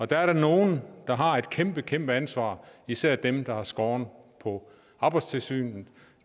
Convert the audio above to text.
der er nogle der har et kæmpe kæmpe ansvar især dem der har skåret på arbejdstilsynet